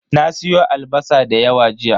Na siyo albasa da yawa jiya.